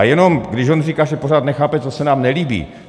A jenom, když on říká, že pořád nechápe, co se nám nelíbí.